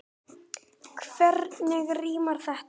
Hvernig rímar þetta?